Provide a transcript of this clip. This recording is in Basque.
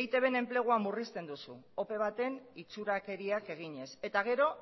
eitbn enplegua murrizten duzu ope baten itxurakeriak eginez eta gero